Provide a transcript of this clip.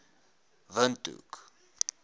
windhoek